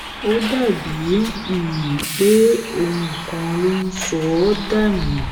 ó dà bíi um pé ohun kan ló ń sọ ọ dà nù